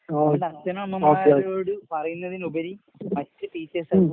ആഹ് okay okay ഉം.